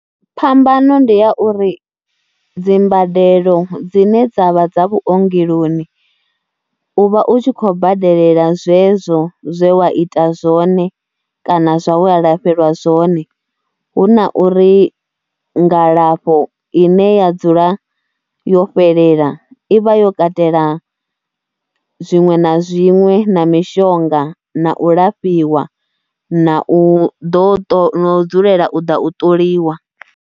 Phambano ndi ya uri dzi mbadelo dzine dza vha dza vhuongeloni u vha u tshi khou badelela zwezwo zwe wa ita zwone kana zwa we a lafheliwa zwone hu na uri ngalafho ine ya dzula yo fhelela i vha yo katela zwiṅwe na zwiṅwe na mishonga na u lafhiwa na u ḓo ṱo, na u dzulela u ḓa u ṱoliwa.